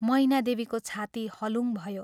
मैनादेवीको छाती हलुङ भयो।